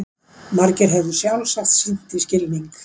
Margir hefðu sjálfsagt sýnt því skilning.